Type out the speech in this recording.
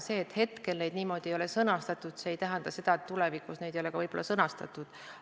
See, et neid niimoodi praegu ei ole sõnastatud, ei tähenda seda, et ka tulevikus neid ei ole sõnastatud.